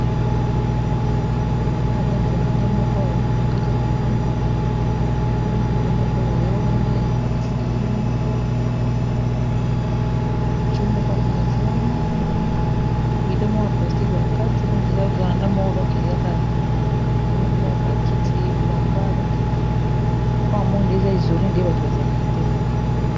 eza vranda moko awa a kati a lopangamoi bido mokoawaea wana eskale mokoo mokoama ea wana amoibido moko ya plastiqe bakati donke eza veranda moko donke eamoni kuna bakiti lamba donke lopango moko nde eza ezole nde bato bazalaka te vama